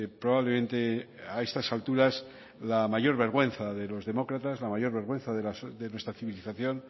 probablemente a estas alturas la mayor vergüenza de los demócrata la mayor vergüenza de nuestra civilización